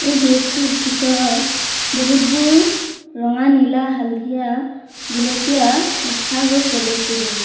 এই গেৰেজ টোৰ ভিতৰত বহুতবোৰ ৰঙা নীলা হালধীয়া গুলপীয়া দেখা গৈছে বস্তুবোৰ।